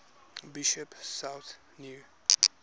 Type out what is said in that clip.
bishops sought new